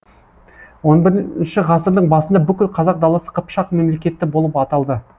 он бірінші ғасырдың басында бүкіл қазақ даласы қыпшақ мемлекеті болып аталды